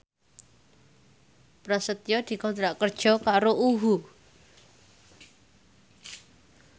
Prasetyo dikontrak kerja karo UHU